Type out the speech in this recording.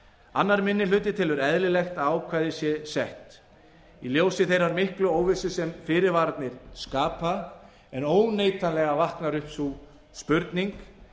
annar minni hluti telur eðlilegt að ákvæðið sé sett í ljósi þeirrar miklu óvissu sem fyrirvararnir skapa en óneitanlega vaknar upp sú spurning